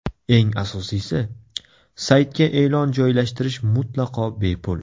Eng asosiysi, saytga e’lon joylashtirish mutlaqo bepul.